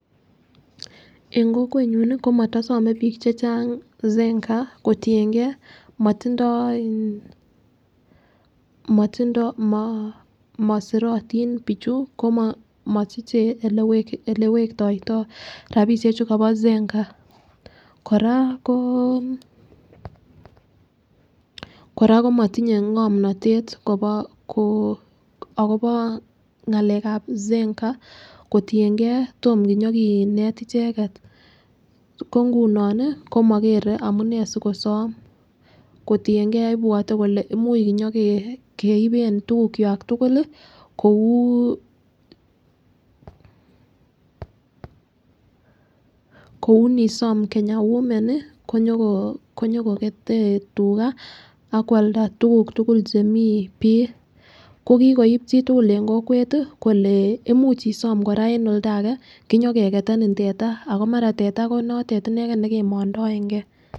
En kokwenyun komotosome bik chechang Zenka kotiyengee motindoi iin motindoi moo mosirotin bichu komo mosiche ole wektoito rabishek chu Kobo Zenka . Koraa koo Koraa komotinye ngomnotet Kobo akoboo ngalekab Zenka kotiyengee tom kinyo kinet icheket ko nguno nii komokere amunee asikosom kotiyengee ibwote kole imuch inyo keiben tukuk kwak tukuk lii koukou nisome Kenya women nii konyoko konyokokete tugaa ak kwalda tukuk tukul chemii bii, ko kikoib chitukul en kokwet tii kole imuch koraa isom en oldakee kinyo keketeni teta omara teta konoret ineken nekemondoengee.